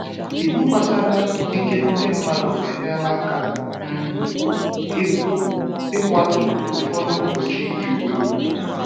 Iwu gbasara ikike ndị mmadụ enyela aka um ịkwatu ụfọdụ mgbochi ìgwè.